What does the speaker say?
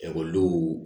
Ekɔlidenw